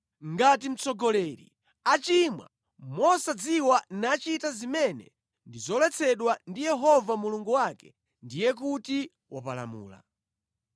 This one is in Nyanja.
“ ‘Ngati mtsogoleri achimwa mosadziwa nachita zimene ndi zoletsedwa ndi Yehova Mulungu wake, ndiye kuti wapalamula.